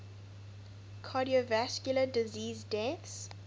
cardiovascular disease deaths